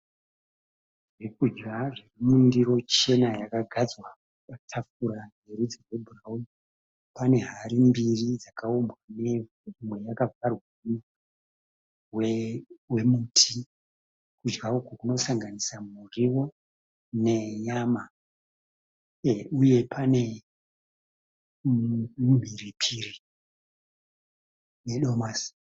Zvekudya zviri mundiro chena yakagadzwa patafura yerudzi rwebhurawuni pane hari mbiri dzakaumbwa nevhu, imwe yakavharwa nemuvharo wemuti kudya uku kunosanganisa muriwo nenyama uye pane mumhiripiri nedomasi.